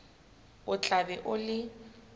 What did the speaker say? o tla be o le